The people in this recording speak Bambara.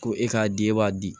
Ko e k'a di e b'a di